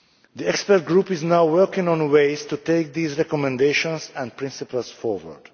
The expert group is now working on ways to take these recommendations and principles forward.